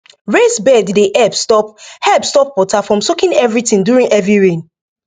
raised bed dey help stop help stop water from soaking everything during heavy rain